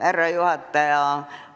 Härra juhataja!